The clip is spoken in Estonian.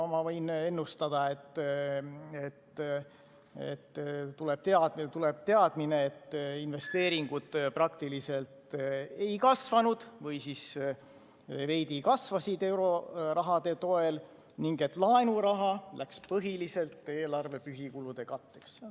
Ma võin ennustada, et tuleb teadmine, et investeeringud praktiliselt ei kasvanud või kasvasid veidi euroraha toel ning laenuraha läks põhiliselt eelarve püsikulude katteks.